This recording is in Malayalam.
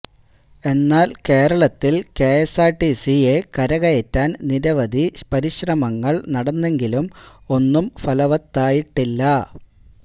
എന്നാല് കേരളത്തില് കെഎസ്ആര്ടിസിയെ കരകയറ്റാന് നിരവധി പരിശ്രമങ്ങള് നടന്നെങ്കിലും ഒന്നും ഫലവത്തായിട്ടില്ല